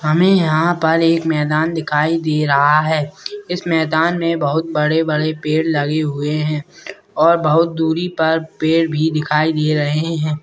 हमें यहाँ पर एक मैदान दिखाई दे रहा है इस मैदान में बहुत बड़े-बड़े पेड़ लगे हुए है और बहुत दुरी पर पेड़ दिखाई दे रहे हैं।